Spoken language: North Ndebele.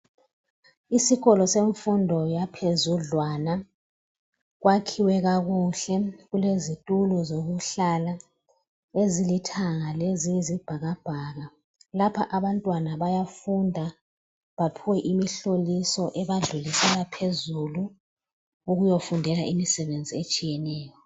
Isikolo semfundo yaphezudlwana kwakhiwe kakuhle kulezitulo zokuhlala ezilithanga leziyisibhakabhaka lapha abantwana bayafunda baphiwe imihloliso ebadlulisela phezulu ukuyofundela imisebenzi etshiyeneyo.